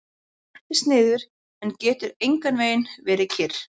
Hún sest niður en getur einhvernveginn ekki verið kyrr.